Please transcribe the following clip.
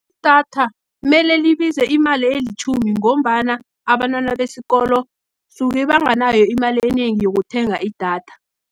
Idatha, mele libize imali elitjhumi, ngombana abantwana besikolo, soke banganalo imali enengi yokuthenga idatha.